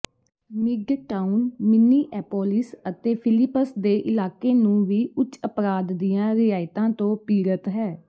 midtown Minneapolis ਅਤੇ Phillips ਦੇ ਇਲਾਕੇ ਨੂੰ ਵੀ ਉੱਚ ਅਪਰਾਧ ਦੀਆਂ ਰਿਆਇਤਾਂ ਤੋਂ ਪੀੜਤ ਹੈ